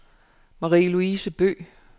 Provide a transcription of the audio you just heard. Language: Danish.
Marie-Louise Bøgh